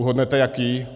Uhodnete jaký?